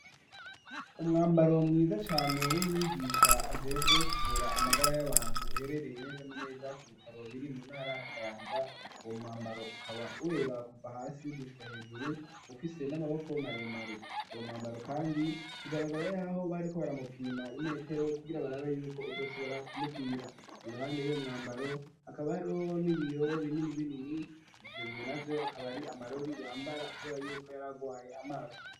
Umwambaro mwiza cane, w'umwigisha ajejwe kuvura amagara y'abantu, uherereye neza na neza ku bitaro biri mu ntara ya Kayanza; uwo mwambaro ukaba wera kuva hasi gushika hejuru, ufise n'amaboko maremare, uwo mwambaro kandi bigaragara y'aho bariko baramupima imetero, kugira barabe y'uko uzoshobora kumukwira, iruhande y'uwo mwambaro hakaba hariho n'ibiyo binini binini, ivyo biyo navyo akaba ari amarori yambara, kubera y'uko yari agwaye amaso.